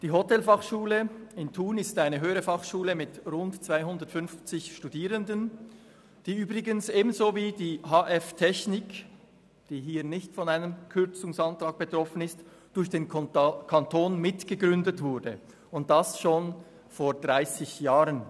Die Hotelfachschule Thun ist eine Höhere Fachschule mit rund 250 Studierenden, die übrigens ebenso wie die HF Technik, die hier nicht von einem Kürzungsantrag betroffen ist, durch den Kanton mitgegründet wurde, und das schon vor 30 Jahren.